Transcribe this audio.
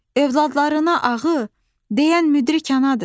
Övladına ağı deyən müdrik anadır.